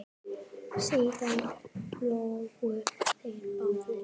Síðan hlógu þeir báðir.